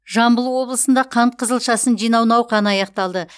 жамбыл облысында қант қызылшасын жинау науқаны аяқталды